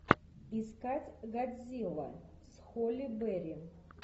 искать годзилла с холли берри